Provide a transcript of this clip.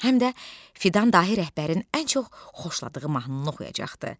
Həm də Fidan dahi rəhbərin ən çox xoşladığı mahnını oxuyacaqdı.